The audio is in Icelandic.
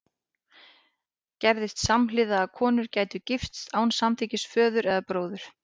Gerðist samhliða að konur gætu gifst án samþykkis föður eða bróður?